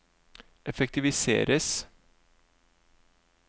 effektiviseres